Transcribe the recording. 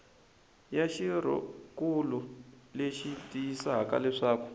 ya xirhonkulu leyi tiyisisaka leswaku